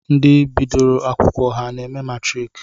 Ndi bdioro akwụkwọ ha na-eme matrik?